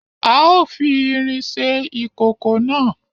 A o fi ìrin ṣe ìkòkò náà